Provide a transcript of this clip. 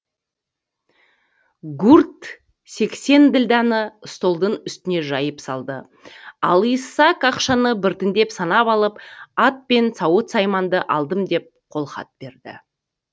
гурт сексен ділданы столдың үстіне жайып салды ал исаак ақшаны біртіндеп санап алып ат пен сауыт сайманды алдым деп қолхат берді